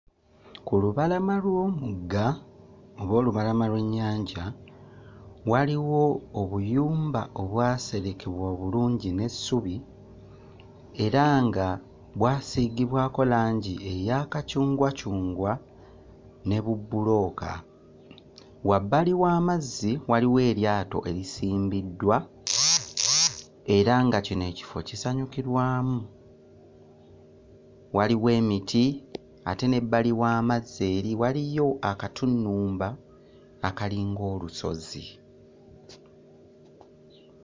Ku lubalama lw'omugga oba olubalama lw'ennyanja waliwo obuyumba obwaserekebwa obulungi n'essubi era nga bwasiigibwako langi eya kacungwacungwa ne bubbulooka. Wabbali w'amazzi waliwo eryato erisimbiddwa era nga kino ekifo kisanyukirwamu. Waliwo emiti ate n'ebbali w'amazzi eri waliyo akatunnumba akalinga olusozi.